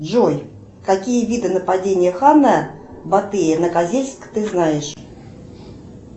джой какие виды нападения хана батыя на козельск ты знаешь